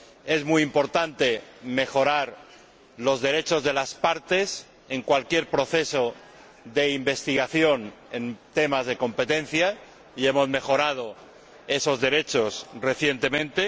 Es muy importante mejorar los derechos de las partes en cualquier proceso de investigación en temas de competencia, y hemos mejorado esos derechos recientemente.